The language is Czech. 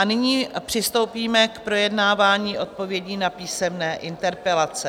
A nyní přistoupíme k projednávání odpovědí na písemné interpelace.